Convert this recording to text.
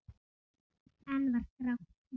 Enn var grátt í dalnum.